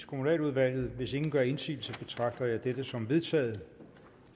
kommunaludvalget hvis ingen gør indsigelse betragter jeg dette som vedtaget